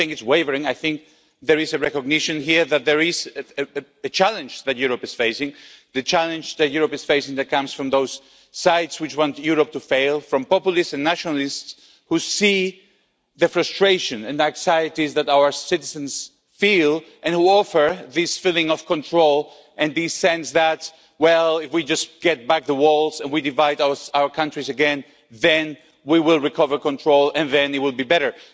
I don't think it's wavering, I think there is a recognition here that there is a challenge which Europe is facing a challenge that comes from those sides which want Europe to fail, from populists and nationalists who see the frustration and the anxieties that our citizens feel, and who offer this feeling of control and the sense that, well, if we just get back the walls and we divide our countries again then we will recover control and it will be better.